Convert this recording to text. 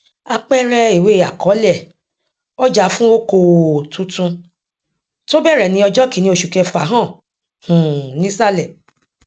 àpẹẹrẹ ìwé àkọọlẹ ọjà fún okoòò tuntun tó bẹrẹ ní ọjọ kínní oṣù kẹfà hàn um nísàlẹ